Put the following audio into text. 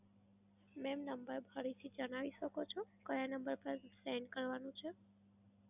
mam number ફરીથી જણાવી શકો છો? કયા number પર send કરવાનું છે?